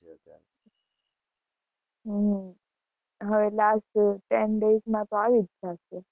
હમ હવે આ ten days માં તો આવી જ જાશે.